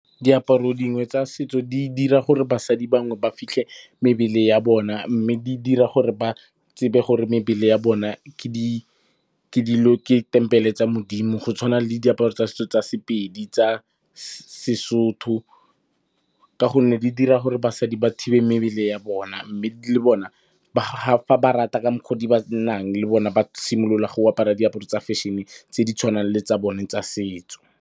Diaparo dingwe tsa setso di dira gore basadi bangwe ba fitlhe mebele ya bona, mme di dira gore ba tsebe gore mebele ya bona ke tempele tsa Modimo go tshwana le diaparo tsa setso tsa Sepedi, tsa Sesotho ka gonne di dira gore basadi ba thibe mebele ya bona, mme le bona, fa ba rata ka mokgw'o di ba nnang le bona ba simolola go apara diaparo tsa fashion-e, tse di tshwanang le tsa bone tsa setso.